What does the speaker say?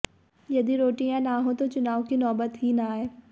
यदि रोटियां न हो तो चुनाव की नोबत ही न आए